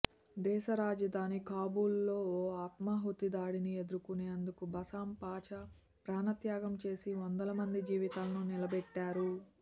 దేశ రాజధాని కాబూల్ లో ఓ ఆత్మాహుతి దాడిని ఎదుర్కునేందుకు బసమ్ పాచా ప్రాణత్యాగం చేసి వందలమంది జీవితాలను నిలబెట్టారు